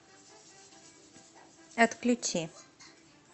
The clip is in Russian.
отключи